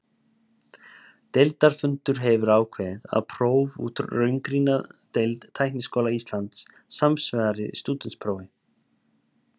Deildarfundur hefur ákveðið, að próf úr raungreinadeild Tækniskóla Íslands samsvari stúdentsprófi.